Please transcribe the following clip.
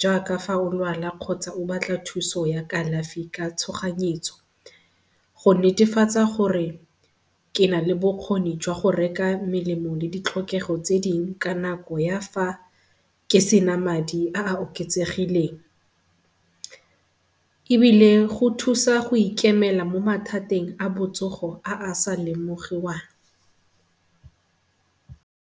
jaaka fa o lwala kgotsa o batla thuso ya kalafi ka tshoganyetso go netefatsa gore ke na le bokgoni jwa go reka melemo le ditlhokego tse dingwe ka nako ya fa ke se na madi a a oketsegileng, ebile go thusa go ikemela mo mathateng a botsogo a a sa lemogiwang.